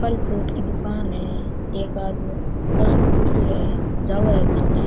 फल फ्रूट की दुकान है एक आदमी बस में उतरा है जावे है बिन।